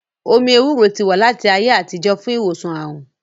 Omí ewúro ti wà láti ayé àtijọ́ fún ìwòsàn àrùn